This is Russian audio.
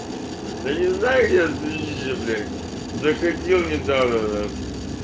да не знаю я заходил недавно нах